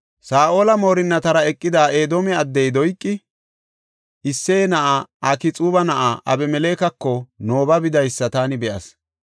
Saa7ola moorinnatara eqida Edoome addey Doyqi, “Isseye na7ay Akxuuba na7aa Abimelekeko Nooba bidaysa taani be7as.